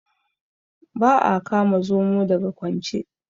Ba a kama Zomo daga kwance.